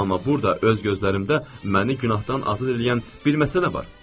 Amma burda öz gözlərimdə məni günahdan azad eləyən bir məsələ var.